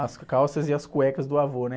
As calças e as cuecas do avô, né?